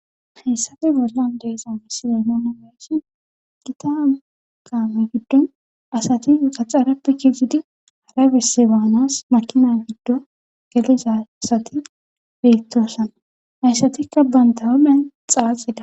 hessafe bollan deeza misilemoona meesi kita qaame giddon asati xaxarappe kizidi hara bisse baanas makina giddo geliza asati beettoosan hayssatikka banta homen xaaxida